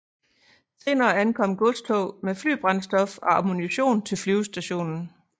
Senere ankom godstog med flybrændstof og ammunition til flyvestationen